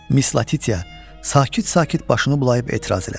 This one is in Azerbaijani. Mis Latitya sakit-sakit başını bulayıb etiraz elədi.